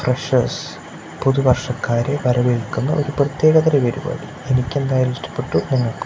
freshers പുതുവർഷക്കാരെ വരവേൽക്കുന്ന ഒരു പ്രത്യേകത തരം പരിപാടി എനിക്ക് എന്തായാലും ഇഷ്ടപ്പെട്ടു നിങ്ങൾക്കും--